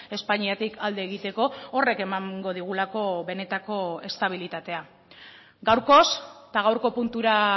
espainiatik alde egiteko horrek emango digulako benetako estabilitatea gaurkoz eta gaurko puntura